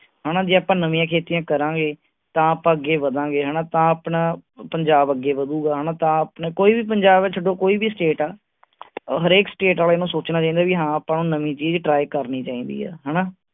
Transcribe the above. ਹਣਾ ਜੇ ਆਪਾਂ ਨਵੀਆਂ ਖੇਤੀ ਕਰਾਂਗੇ, ਤਾਂ ਆਪਾਂ ਅੱਗੇ ਵਧਾਂਗੇ ਹਣਾ ਤਾਂ ਆਪਣਾ ਪੰਜਾਬ ਅੱਗੇ ਵਧੁਗਾ ਹਣਾ ਕੋਈ ਵੀ ਪੰਜਾਬ ਛੱਡੋ ਕੋਈ ਵੀ state ਆ ਹਰ ਏਕ state ਵਾਲੇ ਨੂੰ ਸੋਚਣਾ ਚਾਹੀਦਾ ਵੀ ਹਾਂ ਆਪਾ ਨੂੰ ਨਵੀ ਚੀਜ try ਕਰਨੀ ਚਾਹੀਦੀ ਹੈ ਹਣਾ